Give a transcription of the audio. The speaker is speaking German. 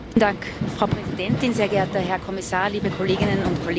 Frau Präsidentin, sehr geehrter Herr Kommissar, liebe Kolleginnen und Kollegen!